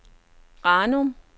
Ranum